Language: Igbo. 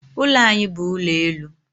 Ụlọ anyị bu ụlọelu.